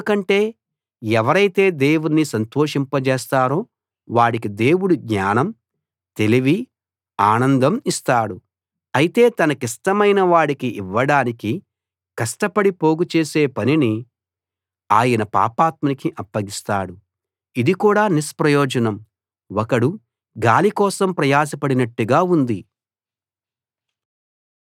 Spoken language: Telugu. ఎందుకంటే ఎవరైతే దేవుణ్ణి సంతోషింప జేస్తారో వాడికి దేవుడు జ్ఞానం తెలివి ఆనందం ఇస్తాడు అయితే తనకిష్టమైన వాడికి ఇవ్వడానికి కష్టపడి పోగుచేసే పనిని ఆయన పాపాత్మునికి అప్పగిస్తాడు ఇది కూడా నిష్ప్రయోజనం ఒకడు గాలి కోసం ప్రయాసపడినట్టుగా ఉంది